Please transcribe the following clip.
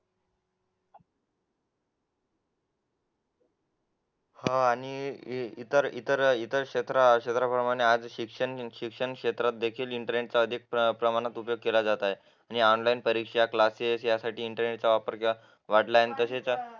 हो आणि इतर इतर इतर क्षेत्राप्रमाणे आज शिक्षण क्षेत्रात देखील इंटरनेटचा अधिक प्रमाणात वापर केला जात आहे आणि ऑनलाईन परीक्षा क्लासेस यासाठी इंटरनेटचा वापर वाढला आहे तसेच